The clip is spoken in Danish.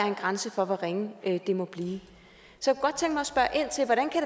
en grænse for hvor ringe det må blive så